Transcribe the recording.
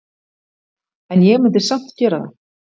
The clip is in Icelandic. En ég myndi samt gera það.